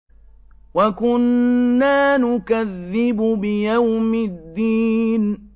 وَكُنَّا نُكَذِّبُ بِيَوْمِ الدِّينِ